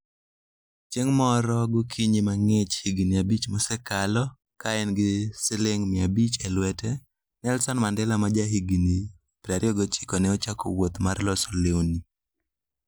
Chieng' moro gokinyi mang'ich higini abich mosekalo, ka en gi siling' 500 e lwete, Nelson Mandela ma jahigini 29 ne ochako wuoth mar loso lewni.